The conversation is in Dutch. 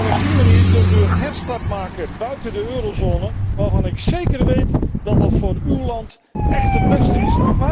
Op die manier kunt u een herstart maken buiten de eurozone, waarvan ik zeker weet dat dat voor uw land echt het beste is.